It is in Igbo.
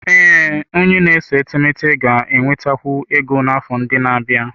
Ee, onye na-ese etemeete ga-enwetakwu ego n'afọ ndị na-abịa.